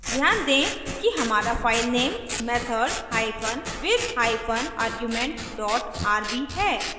ध्यान दें कि हमारा filename method hypen with hypen argument dot rb है